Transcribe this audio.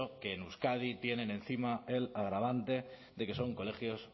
que en euskadi tienen encima el agravante de que son colegios